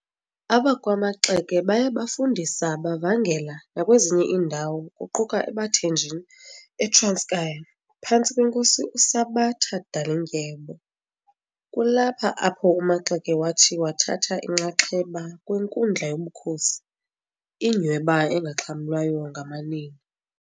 AbakwaMaxeke baye bafundisa bavangela nakwezinye iindawo kuquka ebaThenjini eTranskei phantsi kweNkosi uSabata Dalindyebo. Kulapha apho uMaxeke wathi wathatha inxaxheba kwinkundla yobukhosi, inyhweba engaxhamlwayo ngamanina.